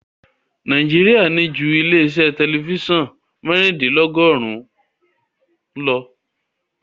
Nàíjíríà ní ju ilé-iṣẹ́ tẹlifíṣàn mẹ́rìndínlọ́gọ́rùn-ún lọ.